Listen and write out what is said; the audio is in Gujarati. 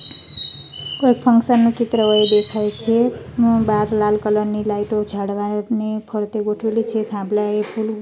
કોઈ ફંકશન નું ચિત્ર હોય એવું દેખાય છે હું બહાર લાલ કલર ની લાઈટો ઝાડવા ને ફરતે ગોઠવેલી છે થાંભલા એ ફુલ--